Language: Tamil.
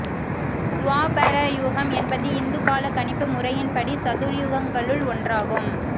துவாபர யுகம் என்பது இந்து காலக் கணிப்பு முறையின் படி சதுர்யுகங்களுள் ஒன்றாகும்